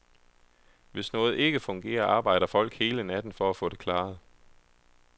Hvis noget ikke fungerer, arbejder folk hele natten for at få det klaret.